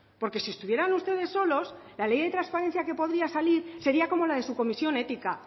porque si estuvieran ustedes solos la ley de transparencia que podría salir sería como la de su comisión ética